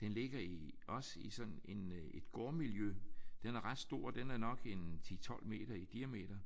Den ligger i også i sådan en øh et gårdmiljø. Den er ret stor. Den er nok en 10 12 meter i diameter